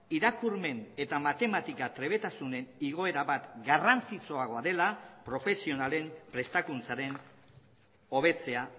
irakurmen eta matematika trebetasunen igoera bat garrantzitsuagoa dela profesionalen prestakuntzaren hobetzea